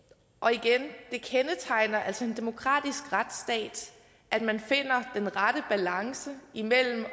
igen det kendetegner altså en demokratisk retsstat at man finder den rette balance imellem